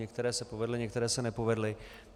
Některé se povedly, některé se nepovedly.